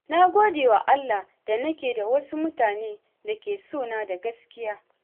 Na gode wa Allah da nake da wasu mutane da ke sona da gaskiya.